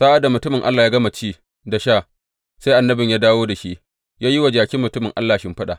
Sa’ad da mutumin Allah ya gama ci da sha, sai annabin da ya dawo da shi ya yi wa jakin mutumin Allah shimfiɗa.